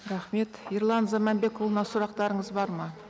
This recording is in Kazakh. рахмет ерлан заманбекұлына сұрақтарыңыз бар ма